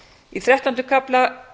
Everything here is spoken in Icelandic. í þrettánda kafla